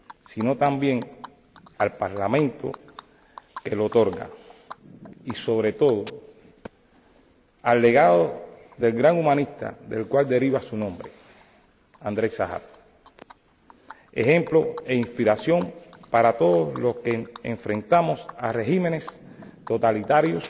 sino también al Parlamento que lo otorga y, sobre todo, al legado del gran humanista del cual deriva su nombre, Andréi Sájarov, ejemplo e inspiración para todos los que enfrentamos a regímenes totalitarios